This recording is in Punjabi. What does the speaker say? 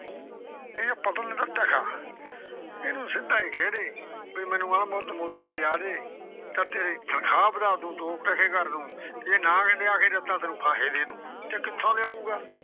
ਇਹਨੂੰ ਆਪਾਂ ਦਿੱਤਾ ਟਕਾ ਅਣ ਮੁੱਕ ਮੋਤੀ ਲਿਆ ਦੇ ਤਾਂ ਤੇਰੀ ਤਨਖਾਹ ਵਧਾ ਦੂੰ, ਦੋ ਟਕੇ ਕਰ ਦੂੰ, ਜੇ ਨਾ ਲਿਆ ਕੇ ਦਿੱਤਾ ਤਾਂ ਤੈਨੂੰ ਫਾਹੇ ਦੇ ਦੂੰ ਤੇ ਕਿੱਥੋਂ ਲਿਆਉਗਾ?